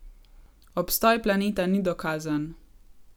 Obstoj planeta ni dokazan.